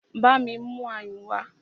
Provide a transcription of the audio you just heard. Bámi mú ayùn wá!